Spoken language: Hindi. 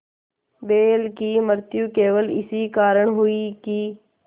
बैल की मृत्यु केवल इस कारण हुई कि